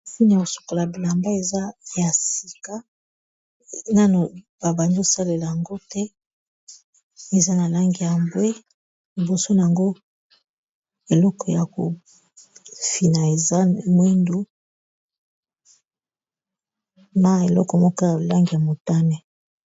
lfine ya kosokola bilamba eza ya sika nano babandi osalela yango te eza na langi ya mbwe liboso na yango eleko ya kofina eza mwindu na eloko moko ya lange ya motane